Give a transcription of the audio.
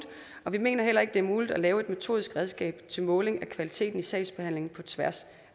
vi mener heller ikke det er muligt at lave et metodisk redskab til måling af kvaliteten i sagsbehandlingen på tværs